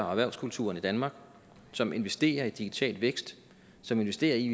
og erhvervskulturen i danmark som investerer i digital vækst som investerer i